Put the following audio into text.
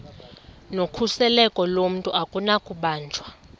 nokhuseleko lomntu akunakubanjwa